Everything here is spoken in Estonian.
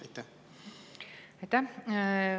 Aitäh!